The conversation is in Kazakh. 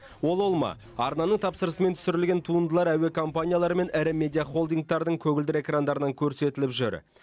ол ол ма арнаның тапсырысымен түсірілген туындылар әуе компаниялары мен ірі медиа холдингтардың көгілдір экрандарынан көрсетіліп жүр